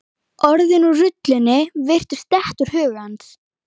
Orðin úr rullunni virtust detta úr huga hans.